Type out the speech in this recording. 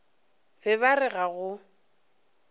be ba re ga go